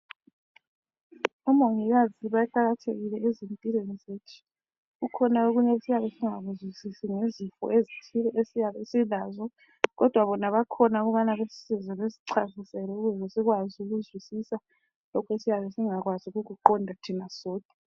Omongikazi baqakathekile ezimpilweni zethu. Kukhona okunye esiyabe singakuzwisisi ngezifo ezithile esiyabe silazo kodwa bona bakhona ukubana basisize basichasisile ukuze sikwazi ukuzwisisa lokho esiyabe singakwazi ukukuqonda thina sodwa.